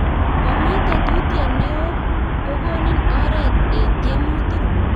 Komi tetutiet ne o ko konin oret eng tiemutik